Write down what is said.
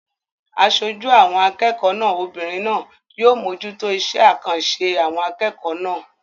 Aṣojú àwọn akẹ́kọ̀ọ́ náà obìnrin náà yóò mójútó iṣé àkànṣe àwọn akẹ́kọ̀ọ́ náà